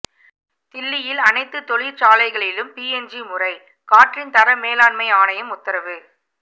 தில்லியில் அனைத்து தொழிற்சாலைகளிலும் பிஎன்ஜி முறைகாற்றின் தர மேலாண்மை ஆணையம் உத்தரவு